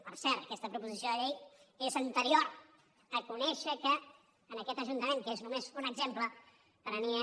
per cert aquesta proposició de llei és anterior a conèixer que en aquest ajuntament que n’és només un exemple prenia